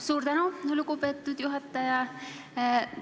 Suur tänu, lugupeetud juhataja!